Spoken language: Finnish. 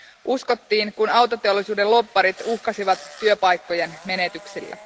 Uskottiin, kun autoteollisuuden lobbarit uhkasivat työpaikkojen menetyksellä.